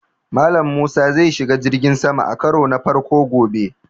Mallam Musa zai shiga jirgin sama a karo na farko gobe